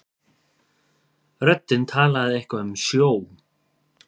Röddin talaði eitthvað um sjó.